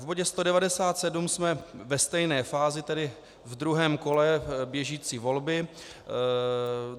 V bodě 197 jsme ve stejné fázi, tedy v druhém kole běžící volby.